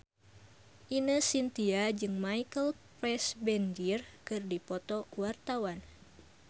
Ine Shintya jeung Michael Fassbender keur dipoto ku wartawan